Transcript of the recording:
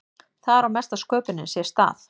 þar á mesta sköpunin sér stað